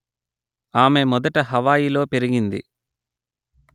ఆమె మొదట హవాయిలో పెరిగింది